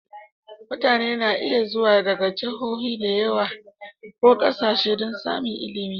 Mutane na iya zuwa daga Jihohi da yawa ko ƙasashe don samun ilimi.